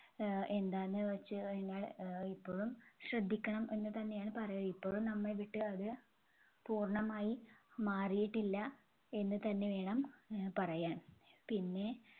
ആഹ് എന്താന്നുവെച്ചുകഴിഞ്ഞാൽ ആഹ് ഇപ്പഴും ശ്രദ്ധിക്കണം എന്നുതന്നെയാണ് പറയ ഇപ്പഴും നമ്മളെ വിട്ട് അത് പൂർണ്ണമായി മാറിയിട്ടില്ല എന്നുതന്നെ വേണം അഹ് പറയാൻ. പിന്നെ